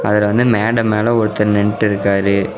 அதுல வந்து மேட மேல ஒருத்தர் நின்னுட்டுருக்காரு.